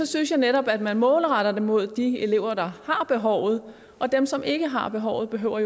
synes jeg netop at man målretter det mod de elever der har behovet og dem som ikke har behovet behøver